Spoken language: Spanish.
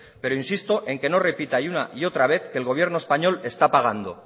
pero insisto en que no repita una y otra vez que el gobierno español está pagando